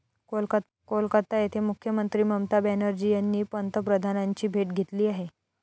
कोलकाता येथे मुख्यमंत्री ममता बॅनर्जी यांनी पंतप्रधानांची भेट घेतली आहे.